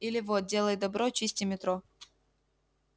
или вот делай добро чисти метро